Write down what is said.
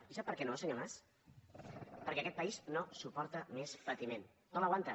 i sap per què no senyor mas perquè aquest país no suporta més patiment no l’aguanta